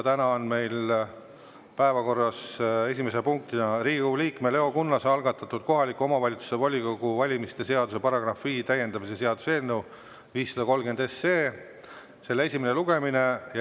Täna on meil päevakorras Riigikogu liikme Leo Kunnase algatatud kohaliku omavalitsuse volikogu valimise seaduse § 5 täiendamise seaduse eelnõu 530 esimene lugemine.